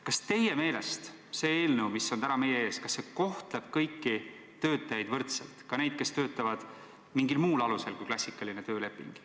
Kas teie meelest see eelnõu, mis on täna meie ees, kohtleb kõiki töötajaid võrdselt – ka neid, kes töötavad mingil muul alusel kui klassikaline tööleping?